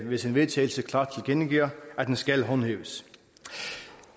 ved sin vedtagelse klart tilkendegiver at den skal håndhæves